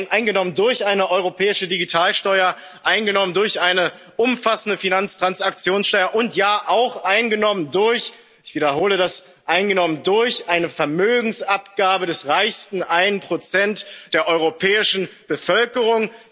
also z. B. eingenommen durch eine europäische Digitalsteuer, eingenommen durch eine umfassende Finanztransaktionssteuer und, ja, auch eingenommen durch ich wiederhole das, eine Vermögensabgabe des reichsten 1 der europäischen